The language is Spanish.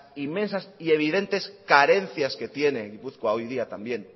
inmensas y evidentes carencias que tiene gipuzkoa hoy día todavía